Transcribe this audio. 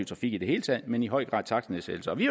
trafik i det hele taget men i høj grad takstnedsættelser og vi